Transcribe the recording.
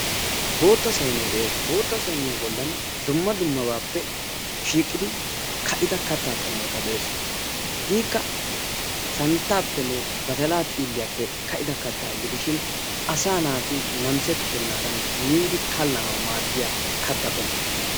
Bootta saynee de"es bootta sayniya bollan dumma dummabaappe shiiqidi ka"ida kattaa qommoyi de"es. Hegeekka santtaappenne badalaa xiilliyappe ka"ida kattaa gidishin asaa naati namisettennaadan miidi kallanawu maaddiya katta qommo.